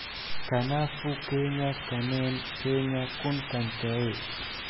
Kanaafuu keenyaa kanneen keenya kun kan ta’e?